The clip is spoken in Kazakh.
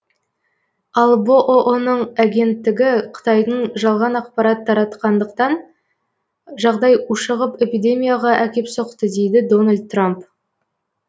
ал бұұ ның агенттігі қытайдың жалған ақпарат таратқандықтан жағдай ушығып эпидемияға әкеп соқты дейді дональд трамп